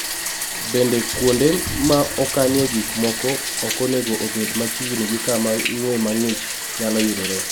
Bende, kuonde ma okanie gik moko ok onego obed machiegni gi kama ng'we mang'ich nyalo yudoree